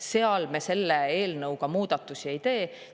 Selle eelnõuga me seal osas muudatusi ei tee.